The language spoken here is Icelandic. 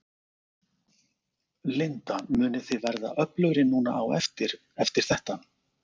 Linda: Munið þið verða öflugri núna á eftir, eftir þetta?